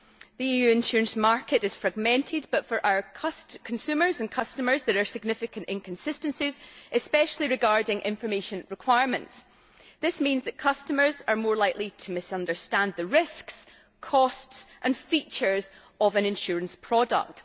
The EU insurance market is fragmented but for our consumers and customers there are significant inconsistencies, especially regarding information requirements. This means that customers are more likely to misunderstand the risks, costs and features of an insurance product.